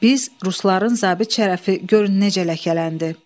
Biz rusların zabit şərəfi görün necə ləkələndi.